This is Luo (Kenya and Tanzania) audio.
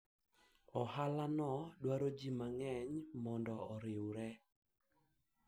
biashara hiyo inahitaji watu wengi ili waungane